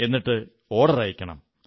എന്നിട്ട് ഓർഡർ അയയ്ക്കണം